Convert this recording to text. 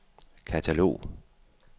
katalog